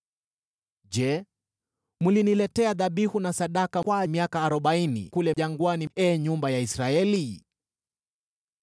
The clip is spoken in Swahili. “Je, mliniletea dhabihu na sadaka kwa miaka arobaini kule jangwani, ee nyumba ya Israeli?